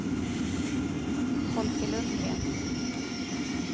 Folke Lundgren